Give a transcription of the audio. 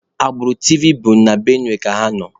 Agbụrụ Tivi bụ na Benue ka ha nọ